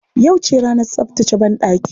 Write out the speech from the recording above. Yauce ranar tsaftace banɗaki.